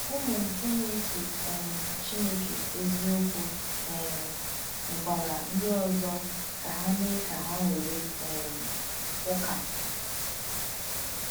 Ụmụ nke na-efe um Chineke eziokwu um nwekwara ndị ọzọ ka ha mee ka ha were um ụka.